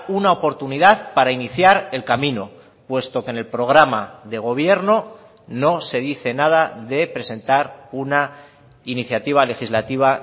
una oportunidad para iniciar el camino puesto que en el programa de gobierno no se dice nada de presentar una iniciativa legislativa